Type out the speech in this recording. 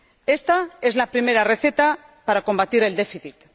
Esta es la primera receta para combatir el déficit.